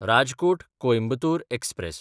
राजकोट–कोयंबतोर express